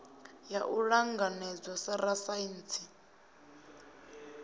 ya u ṱanganedzwa sa rasaintsi